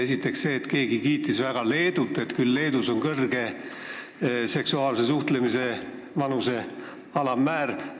Esiteks see, et keegi kiitis väga Leedut, et küll Leedus on kõrge seksuaalse suhtlemise vanuse alammäär.